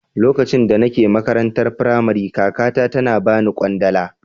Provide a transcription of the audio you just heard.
Lokacin da nake makarantar Firamare kakata tana bani kwandala.